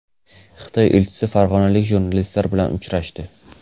Xitoy elchisi farg‘onalik jurnalistlar bilan uchrashdi.